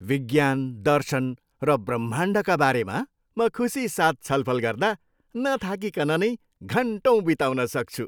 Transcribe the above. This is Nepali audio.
विज्ञान, दर्शन र ब्रह्माण्डका बारेमा म खुसीसाथ छलफल गर्दा नथाकिकन नै घन्टौँ बिताउन सक्छु।